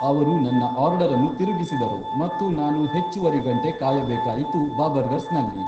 ಅವರು ನನ್ನ ಆರ್ಡರ್ ಅನ್ನು ತಿರುಗಿಸಿದರು ಮತ್ತು ನಾನು ಹೆಚ್ಚುವರಿ ಗಂಟೆ ಕಾಯಬೇಕಾಯಿತು ಬಾಬರ್ಗರ್ಸ್ನಲ್ಲಿ